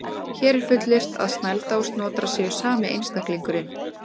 Hér er fullyrt að Snælda og Snotra séu sami einstaklingurinn.